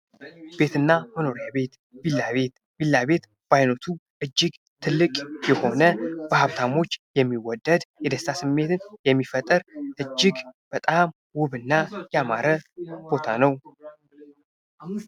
ቤት እና መኖሪያ ቤት ቪላ ቤት በዓይነቱ እጅግ ትልቅ የሆነ በሀብታሞች የሚወደድ የደስታ ስሜትን የሚፈጥር እጅግ በጣም ውብና ያማረ ቦታ ነው።